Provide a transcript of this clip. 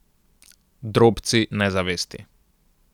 Drobci nezavesti.